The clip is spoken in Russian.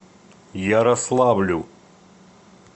ярославлю